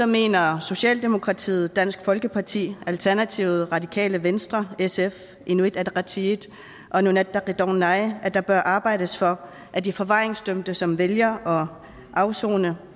mener socialdemokratiet dansk folkeparti alternativet radikale venstre sf inuit ataqatigiit og nunatta qitornai at der bør arbejdes for at de forvaringsdømte som fortsat vælger at afsone